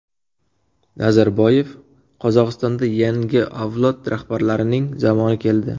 Nazarboyev: Qozog‘istonda yangi avlod rahbarlarining zamoni keldi.